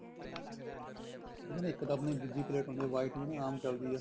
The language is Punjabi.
ਨਹੀਂ ਇੱਕ ਤਾਂ ਆਪਣੀ ਦੂਜੀ ਪਲੇਟ ਹੁੰਦੀ ਆ white ਜਿਹੜੀ ਆਮ ਚੱਲਦੀ ਆ